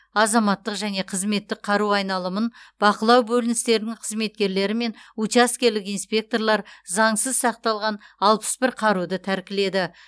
азаматтық және қызметтік қару айналымын бақылау бөліністерінің қызметкерлері мен учаскелік инспекторлар заңсыз сақталған алпыс бір қаруды тәркіледі